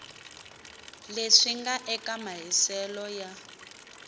leswi nga eka mahiselo ya